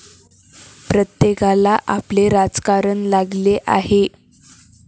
प्रत्येकाला आपले राजकारण लागले आहे.